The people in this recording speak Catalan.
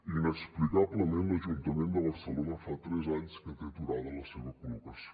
inexplicablement l’ajuntament de barcelona fa tres anys que té aturada la seva col·locació